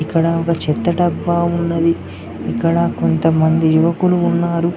ఇక్కడ ఒక చెత్త డబ్బా ఉన్నది ఇక్కడ కొంతమంది యువకులు ఉన్నారు.